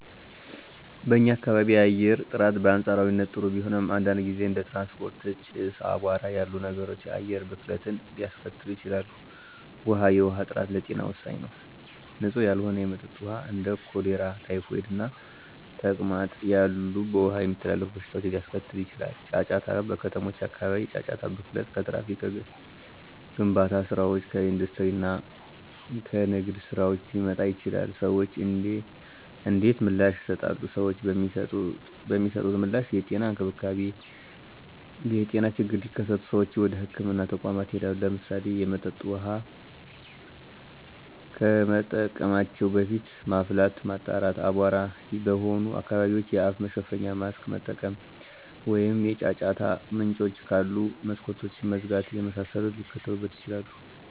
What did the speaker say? *በኛ ካባቢ የአየር ጥራት: በአንፃራዊነት ጥሩ ቢሆንም፣ አንዳንድ ጊዜ እንደ ትራንስፖርት ጭስ፣ እና አቧራ ያሉ ነገሮች የአየር ብክለትን ሊያስከትሉ ይችላሉ። ውሀ፦ የውሃ ጥራት ለጤና ወሳኝ ነው። ንፁህ ያልሆነ የመጠጥ ውሃ እንደ ኮሌራ፣ ታይፎይድ እና ተቅማጥ ያሉ በውሃ የሚተላለፉ በሽታዎችን ሊያስከትል ይችላል። * ጫጫታ: በከተሞች አካባቢ የጫጫታ ብክለት ከትራፊክ፣ ከግንባታ ስራዎች፣ ከኢንዱስትሪ እና ከንግድ ስራዎች ሊመጣ ይችላል። ሰዎች እንዴት ምላሽ ይሰጣሉ? ሰዎች የሚሰጡት ምላሽ * የጤና እንክብካቤ : የጤና ችግሮች ሲከሰቱ ሰዎች ወደ ህክምና ተቋማት ይሄዳሉ። *ለምሳሌ፣ የመጠጥ ውሃ ከመጠቀማቸው በፊት ማፍላት፣ ማጣራት፣ አቧራማ በሆኑ አካባቢዎች የአፍ መሸፈኛ (ማስክ) መጠቀም፣ ወይም የጫጫታ ምንጮች ካሉ መስኮቶችን መዝጋት የመሳሰሉትን ሊያደርጉ ይችላሉ።